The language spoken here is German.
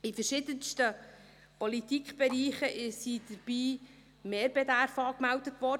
In verschiedensten Politikbereichen sind dabei Mehrbedarfe angemeldet worden.